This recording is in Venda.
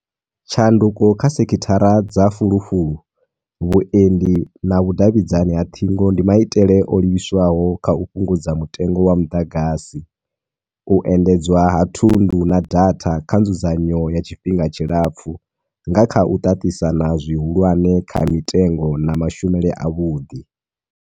Tshanduko kha sekithara dza fulufulu, vhuendi na vhu davhidzani ha ṱhingo ndi maitele o livhiswaho kha u fhungudza mutengo wa muḓagasi, u endedzwa ha thundu na data kha nzudzanyo ya tshifhinga tshilapfu nga kha u ṱaṱisana zwi hulwane kha mitengo na mashumele a vhuḓi.